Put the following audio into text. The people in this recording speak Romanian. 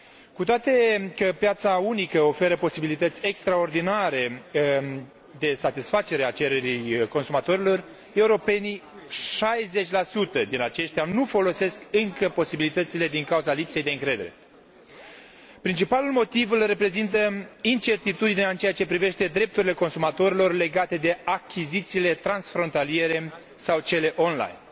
Cu toate că piața unică oferă posibilități extraordinare de satisfacere a cererii consumatorilor, europenii 60 din aceștia nu folosesc încă posibilitățile, din cauza lipsei de încredere. Principalul motiv îl reprezintă incertitudinea în ceea ce privește drepturile consumatorilor legate de achizițiile transfrontaliere sau cele online.